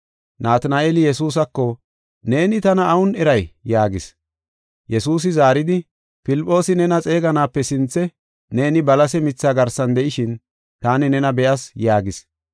Natina7eeli Yesuusako, “Neeni tana awun eray?” yaagis. Yesuusi zaaridi, “Filphoosi nena xeeganaape sinthe, neeni balase mithaa garsan de7ishin taani nena be7as” yaagis.